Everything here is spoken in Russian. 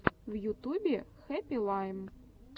в ютубе хэппи лайм